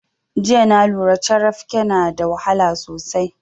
Jiya na lura carabke na da wahala sosai